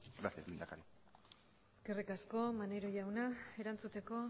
gracias lehendakari eskerrik asko maneiro jauna erantzuteko